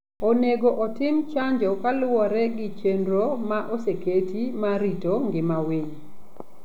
Onego otim chanjo kaluwore gi chenro ma oseketi mar rito ngima winy.